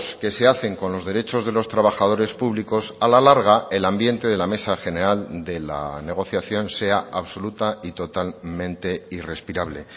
que se hacen con los derechos de los trabajadores públicos a la larga el ambiente de la mesa general de la negociación sea absoluta y totalmente irrespirable